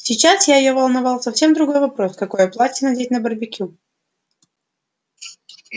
сейчас я её волновал совсем другой вопрос какое платье надеть на барбекю